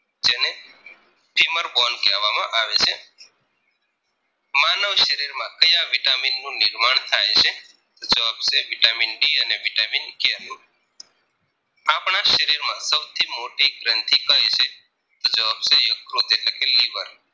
શરીરીમાં કાયા vitamin નું નિર્માણ થાય છે તો જવાબ આવશે vitamin D અને vitamin K નું આપણા શરીર માં સૌથી મોટી ગ્રંથિ કઈ છે તો જવાબ છે યકૃત એટલેકે લીવર